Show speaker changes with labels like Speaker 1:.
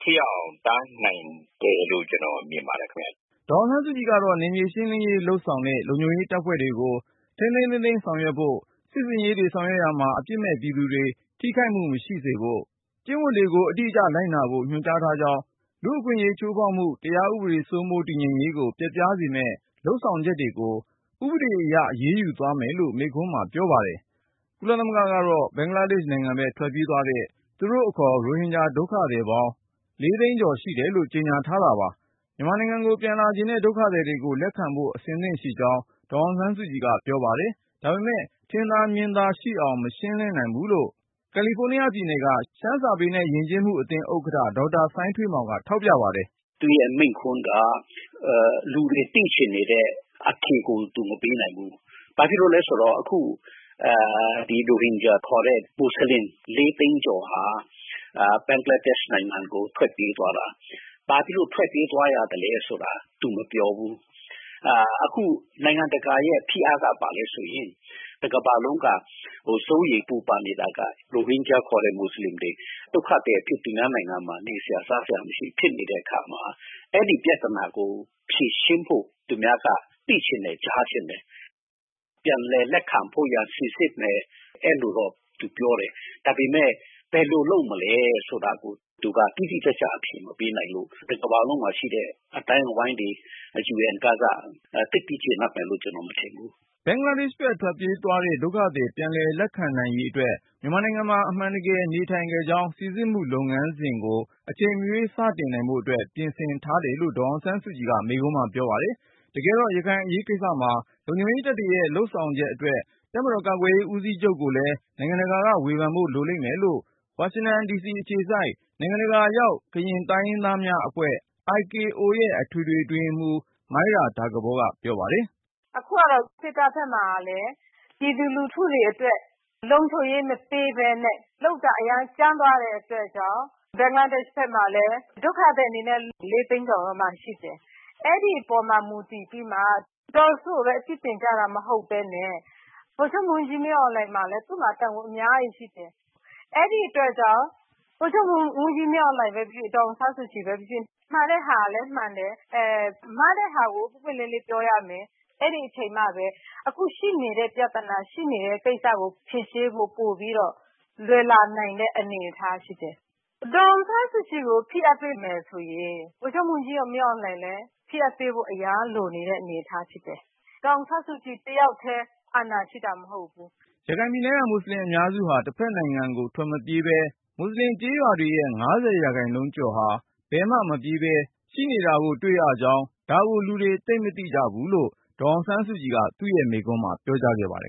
Speaker 1: ထိရောက်အောင် တားနိုင်တယ်လို့ ကျနော် မြင်ပါတယ် ခင်ဗျ
Speaker 2: ။ ” ဒေါ်အောင်ဆန်းစုကြည်ကတော့ နယ်မြေရှင်းလင်းရေးလုပ်ဆောင်တဲ့ လုံခြုံရေးတပ်ဖွဲ့တွေကို ထိန်းထိန်းသိမ်းသိမ်း ဆောင်ရွက်ဖို့၊ စစ်ဆင်ရေးတွေ ဆောင်ရွက်ရာမှာ အပြစ်မဲ့ပြည်သူ တွေ ထိခိုက်မှုမရှိစေဖို့၊ ကျင့်ဝတ်တွေကို အတိအကျ လိုက်နာဖို့ ညွှန်ကြားထားကြောင်း၊ လူ့အခွင့်အရေး ချိုးဖောက်မှု၊ တရားဥပဒေစိုးမိုး တည်ငြိမ်ရေးကို ပျက်ပြားစေမဲ့ လုပ်ဆောင်ချက်တွေကို ဥပဒေအရ အရေးယူသွားမယ်လို့ မိန့်ခွန်းမှာပြောပါတယ်။ ကုလသမဂ္ဂကတော့ ဘင်္ဂလားဒေ့ရှ်နိုင်ငံဘက် ထွက်ပြေးသွားတဲ့ သူတို့အခေါ် ရိုဟင်ဂျာဒုက္ခသည်ပေါင်း သိန်းကျော် ရှိတယ်လို့ ကြေညာထားပါတယ်။ မြန်မာနိုင်ငံကို ပြန်လာချင်တဲ့ ဒုက္ခသည်တွေကို လက်ခံဖို့ အဆင်သင့်ရှိကြောင်း ဒေါ်အောင်ဆန်းစုကြည်က ပြောပါတယ်။ ဒါပေမယ့် ထင်သာမြင်သာ ရှိအောင် မရှင်းလင်းနိုင်ဘူးလို့ ကယ်လီဖိုးနီးယားပြည်နယ်က ရှမ်းစာပေနဲ့ယဉ်ကျေးမှုအသင်း ဥက္ကဌ ဒေါက်တာစိုင်းထွေးမောင်က ထောက်ပြပါတယ်။
Speaker 3: “ သူ့ရဲ့မိန့်ခွန်းက လူတွေ သိချင်နေတဲ့ အထိကို သူမပေးနိုင်ဘူး။ ဘာဖြစ်လို့လဲ ဆိုတော့ အခု ဒီ ရိုဟင်ဂျာ ခေါ်တဲ့ ဒီ မူဆလင် ၄ သိန်းကျော်ဟာ ဘင်္ဂလားဒေရှ့် နိုင်ငံကို ထွက်ပြေးသွားတာ ဘာဖြစ်လို့ ထွက်ပြေးသွားရသလဲ ဆိုတာ သူမပြောဘူး။ အခု နိုင်ငံတကာရဲ့ ဖိအားက ဘာလဲ ဆိုရင် တကမ္ဘာလုံးက စိုးရိမ်ပူပန်နေတာက ရိုဟင်ဂျာ ခေါ်တဲ့ မူဆလင်တွေ ဒုက္ခသည်အဖြစ် သူများနိုင်ငံမှာ နေစရာ စားစရာ မရှိဖြစ်နေတဲ့ အခါမှာ အဲဒီ ပြသနာကို ဖြေရှင်းဖို့ သူများက သိချင်တာ ဖြစ်တယ်။ ပြန်လည်လက်ခံဖို့ရာ စိစစ်မယ် အဲလိုတော့ သူပြောတယ်။ ဒါပေမယ့် ဘယ်လို လုပ်မလဲ ဆိုတာကို သူက တိတိကျကျ အဖြေမပေးနိုင်ဘူး။ တကမ္ဘာလုံးမှာ ရှိတဲ့ အသိုင်းအဝိုင်းတွေ UN ကစ သိပ်ပြီး ကျေနပ်မယ်လို့ ကျနော် မထင်ဘူး။
Speaker 2: ” ဘင်္ဂလားဒေ့ရှ်ဘက် ပြေးသွားတဲ့ ဒုက္ခသည်တွေ ပြန်လည်လက်ခံနိုင်ရေးအတွက် မြန်မာနိုင်ငံမှာ အမှန်တကယ် နေထိုင်ခဲ့ကြောင်း စိစစ်မှု လုပ်ငန်းစဉ် ကို အချိန်မရွေး စတင်နိုင်ဖို့အတွက် ပြင်ဆင်ထားတယ်လို့ ဒေါ်အောင်ဆန်းစုကြည်က မိန့်ခွန်းမှာပြောခဲ့ပါတယ်။ တကယ်တော့ ရခိုင်အရေးကိစ္စမှာ လုံခြုံရေးတပ်တွေရဲ့လုပ်ဆောင်ချက်အတွက် တပ်မတော်ကာကွယ်ရေးဦးစီးချုပ်ကိုလဲ နိုင်ငံတကာက ဝေဖန်ဖို့လိုမယ်လို့ ဝါရှင်တန် ဒီစီအခြေစိုက် နိုင်ငံတကာရောက် ကရင်တိုင်းရင်းသားများအဖွဲ့ IKO ရဲ့အထွေထွေအတွင်းရေးမှူး မိုင်းရာတာကပေါက ပြောပါတယ်။
Speaker 4: “ အခုကတော့ စစ်တပ်ဘက်မှာလည်း ပြည်သူလူထုတွေ အတွက် လုံခြုံရေး မပေးတဲ့ အတွက် လုပ်တာ အရမ်း ကြမ်းသွားတဲ့ အတွက် ဘင်္ဂလားဒေရှ့် နိုင်ငံဘက်မှာ ဒုက္ခသည် အနေနဲ့ ၄ သိန်းကျော်လောက် ရှိတယ်။ အဲဒီ အပေါ်မှာ မူတည်ပြီးမှ ဒေါ်စုကိုဘဲ အပြစ်တင်ကြမှာ မဟုတ်ဘဲနဲ့ ဗိုလ်ချုပ်မှူးကြီး မင်းအောင်လှိုင်မှာလည်း သူ့မှာလည်း တာဝန် အများကြီး ရှိတယ်။ အဲဒီ အတွက်ကြောင့် ဗိုလ်ချုပ်မှူးကြီး မင်းအောင်လှိုင်ဘဲ ဖြစ်ဖြစ် ဒေါ်အောင်ဆန်းစုကြည်ဘဲ ဖြစ်ဖြစ် မှန်တဲ့ဟာလည်း မှန်တယ်၊ မှားတဲ့ဟာကို ပွင့်ပွင့်လင်းလင်း ပြောရမယ်။ အဲဒီအချိန်မှဘဲ အခုရှိနေတဲ့ ပြသနာ ရှိနေတဲ့ ကိစ္စကို ဖြေရှင်းဖို့ လွယ်လာနိုင်တဲ့ အနေအထား ရှိတယ်။ ဒေါ်အောင်ဆန်းစုကြည်ကို ဖိအားပေးမယ် ဆိုရင် ဗိုလ်ချုပ်မှူးကြီး မင်းအောင်လှိုင်ကိုလည်း ဖိအားပေးဖို့ အရမ်းလိုနေတဲ့ အနေအထား ဖြစ်တယ်။ ဒေါ်အောင်ဆန်းစုကြည် တယောက်တည်း အာဏာ ရှိတာ မဟုတ်ဘူး
Speaker 2: ။ ” ရခိုင်ပြည်နယ်က မွတ်ဆလင်အများစုဟာ တစ်ဖက်ကိုထွက်မပြေးပဲ မွတ်စလင်ကျေးရွာတွေရဲ့ ၅၀ ရာခိုင်နှုန်း ကျော်ဟာ ဘယ်မှမပြေးဘဲ ရှိနေကြပါသေးတာကို လူတွေသိပ်မသိကြပါဘူးလို့ ဒေါ်အောင်ဆန်းစုကြည်က မိန့်ခွန်းမှာပြော
Speaker 1: ခဲ့ပါတယ်